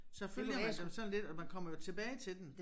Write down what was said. Så følger man dem sådan lidt og man kommer jo tilbage til den